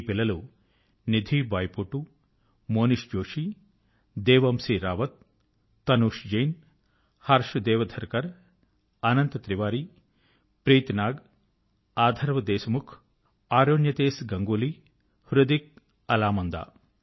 ఈ పిల్లలు Nidhi Baipotu Monish Joshi Devanshi Rawat Tanush Jain Harsh Devdharkar Anant Tiwari Preeti Nag Atharv Deshmukh Aronyatesh Ganguly Hridik Alamanda